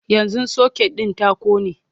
yanzun socket din ta ƙone